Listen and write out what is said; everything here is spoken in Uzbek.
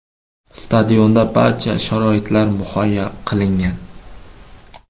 Stadionda barcha sharoitlar muhayyo qilingan.